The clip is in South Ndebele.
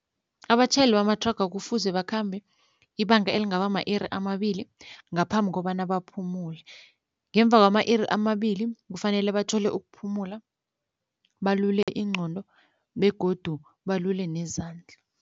Abatjhayeli bamathraga kufuze bakhambe ibanga elingaba ma-iri amabili ngaphambi kobana baphumule ngemva kwama-iri amabili kufanele bathole ukuphumula balule ingqondo begodu balule nezandla.